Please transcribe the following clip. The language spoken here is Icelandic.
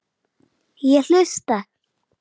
Ég hlusta.